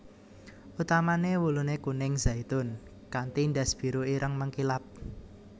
Utamané wuluné kuning zaitun kanti ndas biru ireng mengkilap